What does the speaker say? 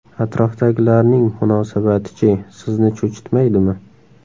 Atrofdagilarning munosabati-chi, sizni cho‘chitmaydimi?